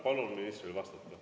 Palun ministril vastata.